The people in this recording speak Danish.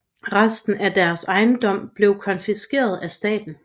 Resten af deres ejendom blev konfiskeret af staten